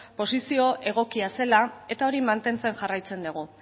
posizio egokia zela eta hori mantentzen jarraitzen dugu